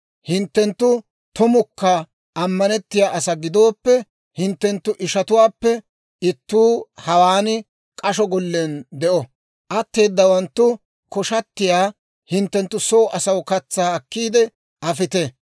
Hinttenttu tumukka ammanettiyaa asaa gidooppe, hinttenttu ishatuwaappe ittuu hawaan k'asho gollen de'o; atteedawanttu koshatiyaa hinttenttu soo asaw katsaa akkiidde afite;